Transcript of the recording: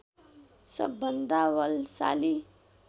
सबभन्दा बलशाली